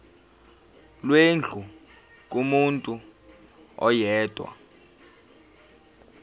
lwendlu kumuntu oyedwa